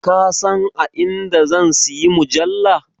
Ka san a inda zan siyi mujalla?